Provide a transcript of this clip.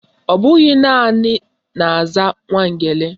Ọbụghị naanị na-aza Nwangele